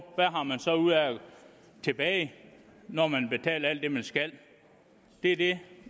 tilbage når man har betalt alt det man skal det er det